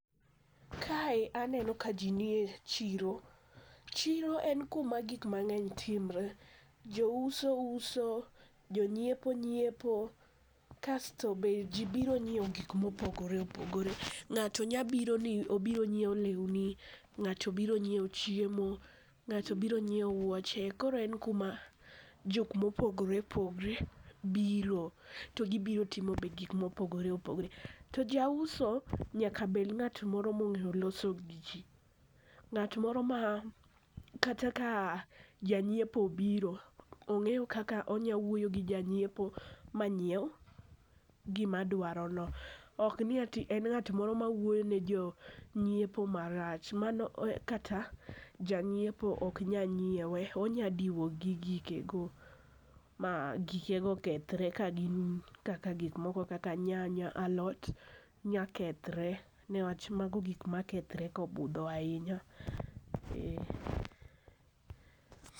Kae aneno ka ji nie chiro. chiro en kuma gik mang'eny timre. Jouso uso, jonyiepo nyiepo, kasto be ji biro nyiewo gik mopogore opogore. Ng'ato nya biro ni obiro nyiewo lewni, ng'ato biro nyiewo chiemo, ng'ato biro nyiewo wuoche. Koro en kuma jok mopogore opogore biro, to gibiro timo be gikmopogore opogore. To jauso nyaka bed ng'at moro mong'eyo loso gi ji. Ng'at moro ma kata ka janyiepo obiro, ong'eyo kaka onya wuoyo gi janyiepo manyiew gima dwarono. ok ni ati en ng'at moro mawuoyo ni jonyiepo marach, mano kata janyiepo ok nya nyiewe, onyadiwo gi gikego ma gikego kethre ka gin kaka gikmoko kaka nyanya ,alot, nya kethre niwach mago gik ma kethre kobudho ahinya.